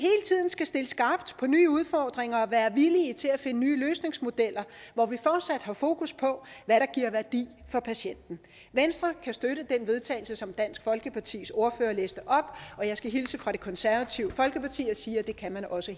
skal stille skarpt på nye udfordringer og være villige til at finde nye løsningsmodeller hvor vi fortsat har fokus på hvad der giver værdi for patienten venstre kan støtte det til vedtagelse som dansk folkepartis ordfører læste op og jeg skal hilse fra det konservative folkeparti og sige at det kan de også